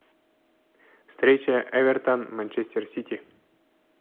встреча эвертон манчестер сити